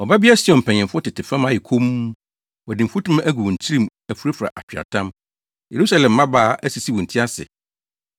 Ɔbabea Sion mpanyimfo tete fam ayɛ komm; wɔde mfutuma agu wɔn tirim afurafura atweaatam. Yerusalem mmabaa asisi wɔn ti ase.